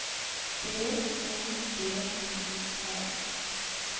B O D I L